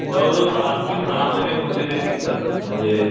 जवळ जवळ आणखी सहा महिने पुढचे ते टिकत म्हणजे